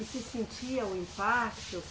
E se sentia o impacto?